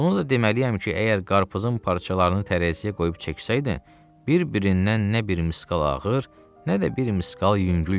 Bunu da deməliyəm ki, əgər qarpızın parçalarını tərəziyə qoyub çəksəydin, bir-birindən nə bir misqal ağır, nə də bir misqal yüngül gələrdi.